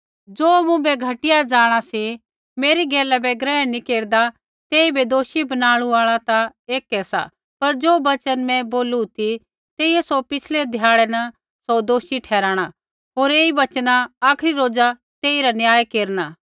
ज़ो मुँभै घटिया जाँणा सा होर मेरी गैला बै ग्रहण नैंई केरदा तेइबै दोषी बनाणु आल़ा ता ऐकै सा पर ज़ो वचन मैं बोलू ती तेइयै सौ पिछ़लै ध्याड़ै न सौ दोषी ठराणा होर ऐई वचना आखरी रोज़ा तेइरा न्याय केरना